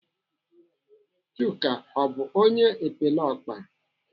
Chuka ọ bụ onye epeleọkpa?